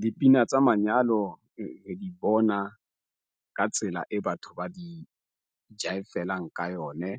Dipina tsa manyalo bona ka tsela e batho ba di jive-felang ka yone